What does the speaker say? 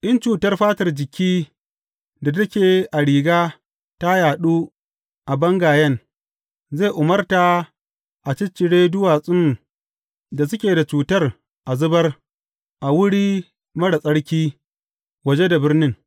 In cutar fatar jiki da take a riga ta yaɗu a bangayen, zai umarta a ciccire duwatsun da suke da cutar a zubar a wuri marar tsarki waje da birnin.